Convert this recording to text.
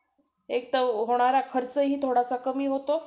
PT चा class होता ना तुमचा का नाही?